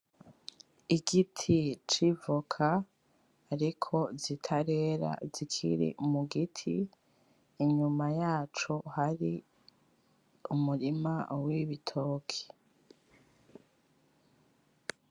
Igiti c'ivoka ,ariko zitarera zikiri mu giti ,inyuma yaco hari umurima w'ibitoke.